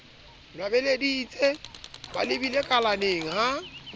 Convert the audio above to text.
nwabeleditse ba habile kalaneng ha